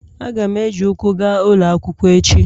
Aga m eji ụkwụ gaa ụlọ akwụkwọ echi.